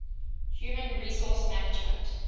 human resource management